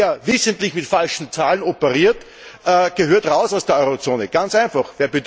Wer wissentlich mit falschen Zahlen operiert, gehört aus der Eurozone raus, ganz einfach.